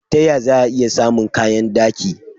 Ta ya za'a i samun kayan daki?